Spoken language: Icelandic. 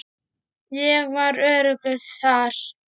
Ég var öruggur þar.